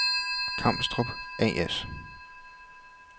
Kamstrup A/S